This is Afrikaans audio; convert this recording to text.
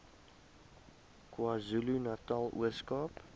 kwazulunatal ooskaap